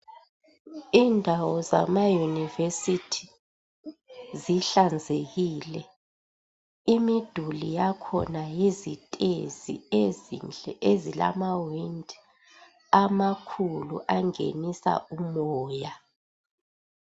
Indawo zama university zihlanzekile. Imiduli yakhona yizitezi ezinhle ezilamawindi amakhulu angenisa umoya